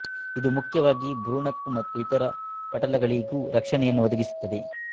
ಇದು ಮುಖ್ಯವಾಗಿ ಭ್ರೂಣಕ್ಕೂ ಮತ್ತು ಇತರ ಪಟಲಗಳಿಗೂ ರಕ್ಷಣೆಯನ್ನು ಒದಗಿಸುತ್ತದೆ